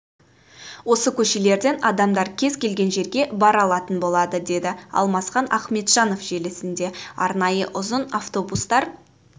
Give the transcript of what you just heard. осы көшелерден адамдар кез-келген жерге бара алатын болады деді алмасхан ахмеджанов желісінде арнайы ұзын автобустар